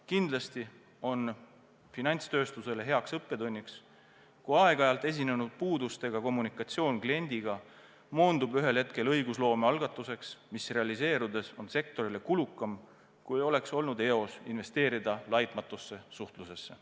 Kindlasti on finantstööstusele hea õppetund, kui aeg-ajalt esinenud puudustega kommunikatsioon kliendiga moondub ühel hetkel õigusloome algatuseks, mis realiseerudes on sektorile kulukam, kui oleks olnud eos investeerida laitmatusse suhtlusesse.